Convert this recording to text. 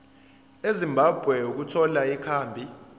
ezimbabwe ukuthola ikhambi